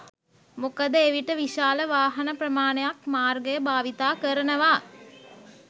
මොකද එවිට විශාල වාහන ප්‍රමාණයක් මාර්ගය භාවිත කරනවා.